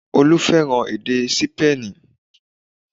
Olú fẹ́ràn èdè Sípéènì